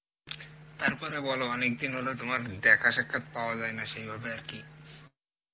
তারপরে বল অনেকদিন হলো তোমার দেখা সাক্ষাৎ পাওয়া জানা সেই ভাবে আরকি